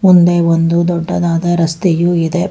ಒಂದೇ ಒಂದು ದೊಡ್ಡದಾದ ರಸ್ತೆಯು ಇದೆ.